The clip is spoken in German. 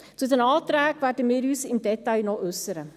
Zu den Anträgen werden wir uns im Detail noch äussern.